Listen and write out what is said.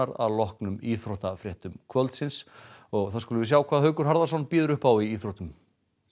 að loknum íþróttafréttum kvöldsins og þá skulum við sjá hvað Haukur Harðarson býður upp á í íþróttum